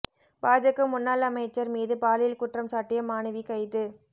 பாஜக முன்னாள் அமைச்சர் மீது பாலியல் குற்றம் சாட்டிய மாணவி கைது